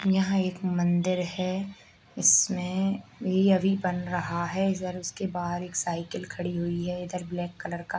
यहाँ एक मंदिर है इसमें ये अभी बन रहा है और उसके बाहर एक साइकिल खड़ी हुई है इधर ब्लैक कलर का।